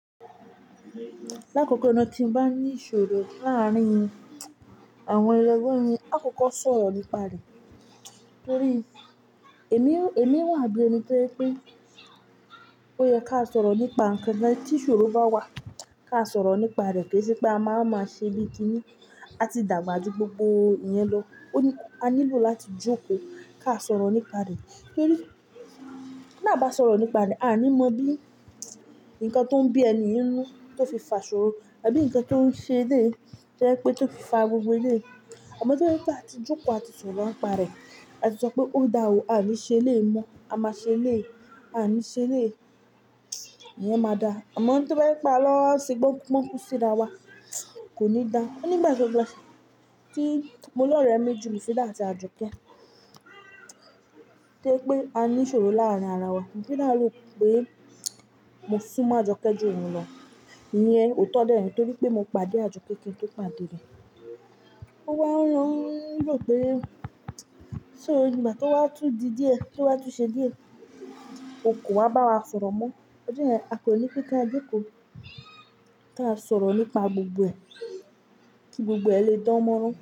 Lákòókò náà kí n bá ní ìṣòro láàárín àwọn ẹlẹ́gbe mi, àkọ́kọ́ sọ̀rọ̀ nípa rẹ̀. Nítorí èmi, èmi wà bí ẹni tó pé ó yẹ ká sọ̀rọ̀ nípa ńkan náà. Tí ìṣòro bá wà ká sọ̀rọ̀ nípa rẹ̀, pé ṣé pé a máa máa ṣe bíi kíni, a ti dàgbà ju gbogbo yẹn lọ. Ó ní a nílò láti jókòó ká sọ̀rọ̀ nípa rẹ̀. Nítorí bí a bá sọ̀rọ̀ nípa rẹ̀, a ní mọ bí ńǹkan tó ń bí ẹni inú tó fi fà ṣòro, àbí ńǹkan tó ń ṣe dé ẹ pé tó fi fà gbogbo ilẹ̀ yìí. Àmọ́ tí wọ́n bá ti jókòó àti sọ̀rọ̀ nípa rẹ̀, a ti sọ pé ó dà wò, a lè ṣe ilẹ̀ mọ́, a máa ṣe ilẹ̀ yìí, a ní ṣe ilẹ̀ yìí, ìyẹn máa dà. Àmọ́ tí wọ́n bá pa lọ́ọ̀ sí i gbọ́n, wọ́n kú sí dá wà, kò ní dà. Ó ní ìgbà gbogbo tí mo lọ̀rẹ́ méjì, mo fi dá àti a jọ pé, pé pé a ní ìṣòro láàárín ara wa, mo fi dá a lò pé mo sún mọ́ àjọkẹ́ jù òun lọ. Ìyẹn ò tó dẹ́nij, nítorí pé mo pàdé àjọkẹ́ kí n tó pàdé rẹ̀. Ó wà ó ń rọ̀ pé ṣé ìgbà tí wọ́n á tú di díẹ̀, tí wọ́n á tú ṣe díẹ̀, òkòwò á bá wa sọ̀rọ̀ mọ́. Ó jẹ́ ẹ̀ a kò ní pípa díkù tó á sọ̀rọ̀ nípa gbogbo ẹ̀, kí gbogbo ẹ̀ lè dánmọ́ran.